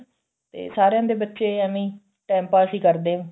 ਤੇ ਸਾਰਿਆਂ ਦੇ ਬੱਚੇ ਐਵੇਂ ਈ time ਪਾਸ ਈ ਕਰਦੇ ਆ